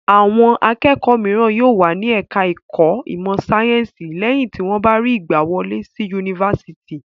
Awọn akẹ́kọ̀ọ́ mìíràn yóò wà ní ẹ̀ka-ẹ̀kọ́ ìmọ̀-sáyẹ́ńsì lẹ́yìn tí wọ́n bá rí ìgbàwọlé sí yunifásitì.